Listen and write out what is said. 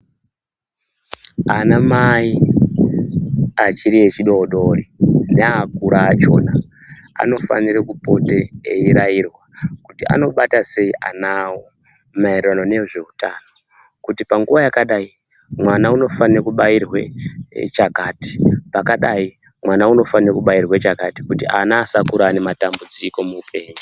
Anamai achiri echidoodori neakura achona anofanira kupota eirairwa kuti anobata sei ana awo maererano nezveutano, kuti panguwa yakadai mwana unofanire kubairwe chakati, pakadai mwana unofanirwe kubairwe chakati kuti ana asakura ane matambudziko muupenyu.